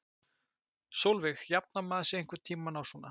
Sólveig: Jafnar maður sig einhvern tímann á svona?